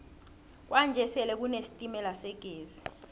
kwanje sele kune sitemala segezi